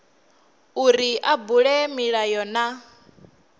uri a bule milayo na